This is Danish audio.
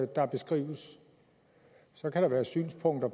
der beskrives så kan der være synspunkter